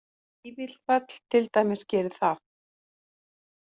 Vífilfell til dæmis gerir það